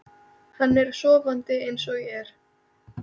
Hann er sofandi eins og er.